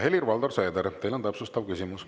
Helir-Valdor Seeder, teil on täpsustav küsimus.